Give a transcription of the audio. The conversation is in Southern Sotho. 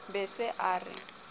be a se a re